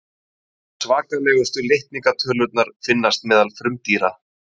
svakalegustu litningatölurnar finnast meðal frumdýra